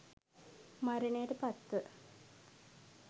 මරණයට පත්ව